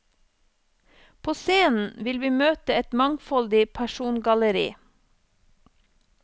På scenen vil vi møte et mangfoldig persongalleri.